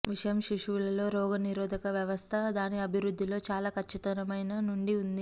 విషయం శిశువులలో రోగనిరోధక వ్యవస్థ దాని అభివృద్ధిలో చాలా ఖచ్చితమైన నుండి ఉంది